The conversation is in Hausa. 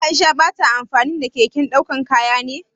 Aisha ba ta amfani da keken daukan kaya ne?